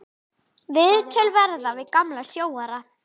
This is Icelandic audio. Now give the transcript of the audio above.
Viðtöl verða við gamla sjóara.